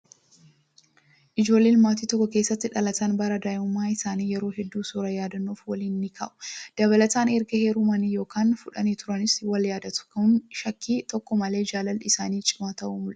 Ijoolleen maatii tokko keessatti dhalatan bara daa'imummaa isaanii yeroo hedduu suuraa yaadannoof waliin ni ka'u. Dabalataan erga heerumanii yookaan fuudhanii turaniis wal yaadatu. Kun shakkii tokko malee jaalalli isaanii cimaa ta'uu mul'isa.